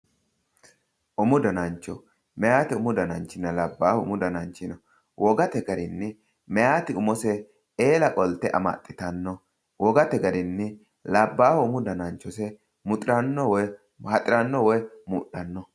Umu danancho, meyaate umi dananchina labbaahu umu dananchi wogate garinni meyaati umose eela qolte amaxxitanno wogate garinni labbaahu umu dananchosi haxiranno woy mudhanno.